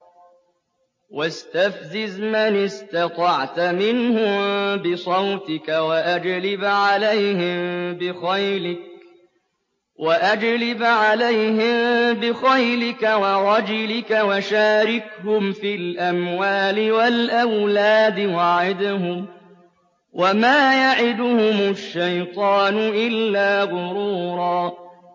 وَاسْتَفْزِزْ مَنِ اسْتَطَعْتَ مِنْهُم بِصَوْتِكَ وَأَجْلِبْ عَلَيْهِم بِخَيْلِكَ وَرَجِلِكَ وَشَارِكْهُمْ فِي الْأَمْوَالِ وَالْأَوْلَادِ وَعِدْهُمْ ۚ وَمَا يَعِدُهُمُ الشَّيْطَانُ إِلَّا غُرُورًا